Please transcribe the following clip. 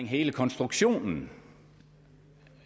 hele konstruktionen